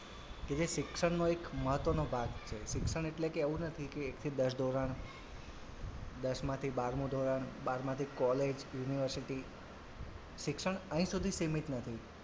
કે જે શિક્ષણનો એક મહત્વનો ભાગ છે શિક્ષણ એટલે કે એવું નથી કે એકથી દસ ધોરણ દસમાંથી બારમું ધોરણ બારમાંથી college university શિક્ષણ અહીં સુધી સીમિત નથી.